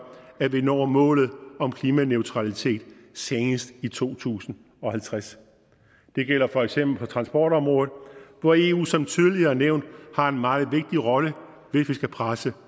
at vi når målet om klimaneutralitet senest i to tusind og halvtreds det gælder for eksempel på transportområdet hvor eu som tidligere nævnt har en meget vigtig rolle hvis vi skal presse